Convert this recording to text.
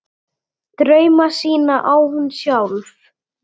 Drauma sína á hún sjálf.